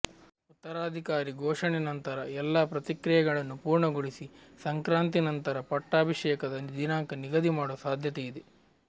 ಉತ್ತರಾಧಿಕಾರಿ ಘೋಷಣೆ ನಂತರ ಎಲ್ಲಾ ಪ್ರಕ್ರಿಯೆಗಳನ್ನು ಪೂರ್ಣಗೊಳಿಸಿ ಸಂಕ್ರಾಂತಿ ನಂತರ ಪಟ್ಟಾಭಿಷೇಕದ ದಿನಾಂಕ ನಿಗದಿ ಮಾಡುವ ಸಾಧ್ಯತೆ ಇದೆ